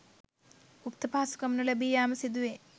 උක්ත පහසුකම් නොලැබී යාම සිදුවේ.